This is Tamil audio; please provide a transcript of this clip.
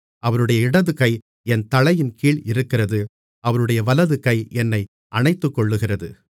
அவருடைய இடதுகை என் தலையின்கீழ் இருக்கிறது அவருடைய வலதுகை என்னை அணைத்துக்கொள்கிறது மணவாளன்